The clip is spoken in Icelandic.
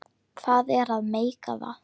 Hvað er að meika það?